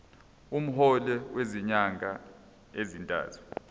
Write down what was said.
umholo wezinyanga ezintathu